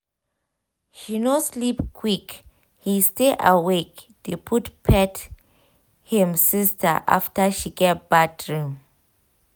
he no sleep quick he stay awake dey pet him sister after she get bad dream.